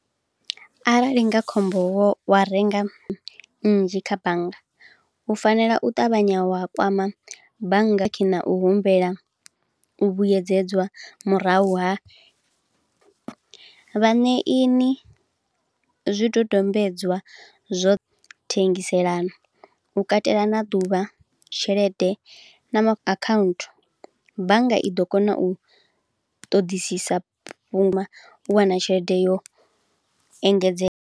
Arali nga khombo vho wa renga nnzhi kha bannga, u fanela u ṱavhanya wa kwama bannga khe na u humbela vhuyedzedzwa murahu ha. Vhaṋeini zwidodombedzwa zwo thengiselano, u katela na ḓuvha, tshelede, account, bannga i ḓo kona u ṱoḓisisa fhuma u wana tshelede yo engedze.